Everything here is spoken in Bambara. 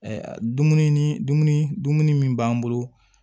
dumuni dumuni dumuni min b'an bolo